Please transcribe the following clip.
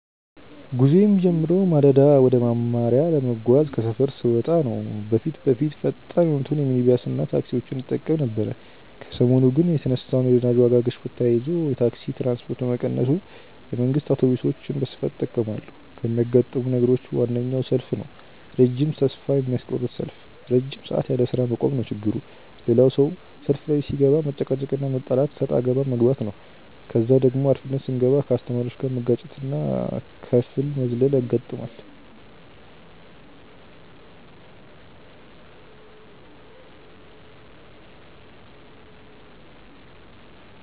ጉዞዬ የሚጀምረው ማለዳ ወደ መማሪያ ለመጓዝ ከሰፈር ስወጣ ነው። በፊት በፊት ፈጣን የሆኑትን ሚኒባስና ታክሲዎችን እጠቀም ነበር ከሰሞኑ ግን የተነሳውን የነዳጅ ዋጋ ግሽበት ተያይዞ የታክሲ ትራንስፖርት በመቀነሱ የመንግስት አውቶብሶችን በስፋት እጠቀማለሁ። ከሚያጋጥሙኝ ነገሮች ዋነኛው ሰልፍ ነው ረጅም ተስፋ የሚያስቆርጥ ሰልፍ። ረጅም ሰዓት ያለስራ መቆም ነው ችግሩ። ሌላው ሰው ሰልፍ ላይ ሲገባ መጨቃጨቅና መጣላት እሰጥአገባ መግባት ነው። ከዛ ደግሞ አርፍደን ስንገባ ከአስተማሪዎች ጋር መጋጨትና ከፍል መዝለል ያጋጥማል።